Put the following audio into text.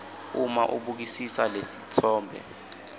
uma ubukisisa lesitfombe